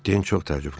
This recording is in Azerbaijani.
Din çox təəccübləndi.